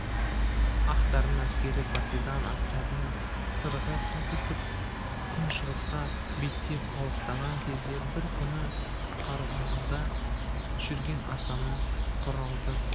ақтардың әскері партизан отрядынан сырғып солтүстік күншығысқа беттеп алыстаған кезде бір күні қарауылда жүрген асанның құралды